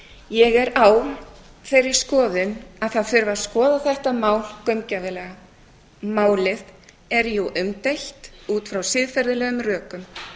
ég er á þeirri skoðun að það þurfi að skoða þetta mál gaumgæfilega málið er jú umdeilt út frá siðferðilegum rökum